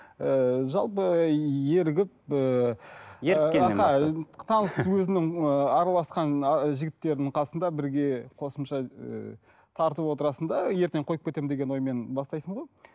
ііі жалпы ерігіп ііі таныс өзіңнің і араласқан жігіттердің қасында бірге қосымша ыыы тартып отырасың да ертең қойып кетемін деген оймен бастайсың ғой